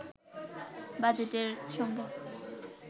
বাজেটের সঙ্গে